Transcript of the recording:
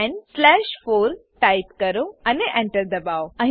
10 slash 4 type કરો અને Enter દબાવો